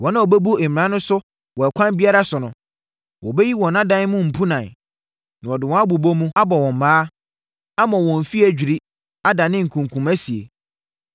Wɔn a wɔbɛbu mmara no so wɔ ɛkwan biara so no, wɔbɛyi wɔn adan so mpunan. Na wɔde wɔn abobɔ mu, abɔ wɔn mmaa, ama wɔn afie adwiri, adane nkunkumasie.